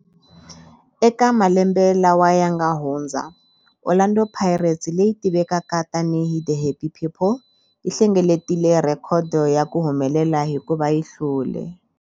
Eka malembe lawa yanga hundza, Orlando Pirates, leyi tivekaka tani hi 'The Happy People', yi hlengeletile rhekhodo ya ku humelela hikuva yi hlule.